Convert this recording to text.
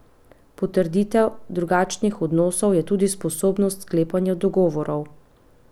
Potrditev drugačnih odnosov je tudi sposobnost sklepanja dogovorov.